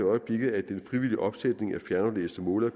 øjeblikket at den frivillige opsætning af fjernaflæste målere